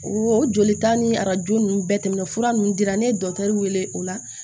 O joli ta ni arajo ninnu bɛɛ tɛmɛna fura ninnu dira ne ye dɔkitɛriw wele o la